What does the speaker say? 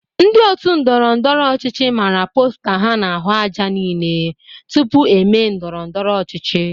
Ndị otu ndọrọndọrọ ọchịchị mara posta ha n'ahụ aja niile tupu eme ndọrọndọrọ ọchịchị.